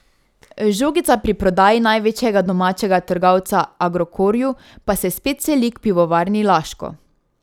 Žogica pri prodaji največjega domačega trgovca Agrokorju pa se spet seli k Pivovarni Laško.